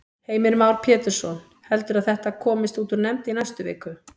Heimir Már Pétursson: Heldurðu að þetta komist út úr nefnd í næstu viku?